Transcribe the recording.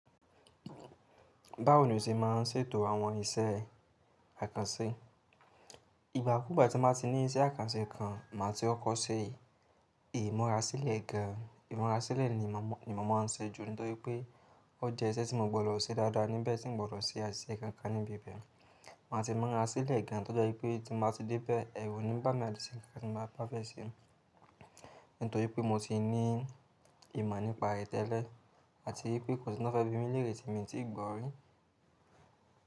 Báwo ni o ṣe máa ń ṣètò àwọn iṣẹ́ àkànṣe? Ìgbà kúùgbà tí bá ti ní iṣẹ́ àkànṣe kan, màá ti kọ́ kọ́ ṣe, imura sílẹ̀ gan. Ìmura sílẹ̀ ni mo máa n ṣe jù nítorí pé ó jẹ́ iṣẹ́ tí mo gbọdọ̀ ṣe dáadáa níbẹ̀ tí n gbọdọ̀ ṣe àṣìṣe kankan níbi ibẹ̀. Màá ti mura sílẹ̀ gan to jẹ wipé tí mo bá ti dé bẹ́ẹ̀, ẹ̀rù o ní bá mi atí ṣe ohun ti mo bá fẹ́ ṣe nítorí pé mo ti ní ìmọ̀ nípa ẹ́ tẹ́lẹ́ àti wipé kò sì ohun ti wọn fẹ́ bí mi léèrè tí mi tí gbọ́ rí.